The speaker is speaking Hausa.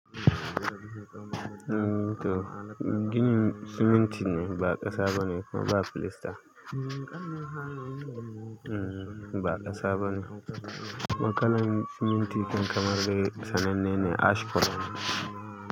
Toh gini siminti ne ba ƙasa bane kuma ba filasta. Ba ƙasa bane. Kuma kallan siminti kam kamar gari sananne ne ash farat.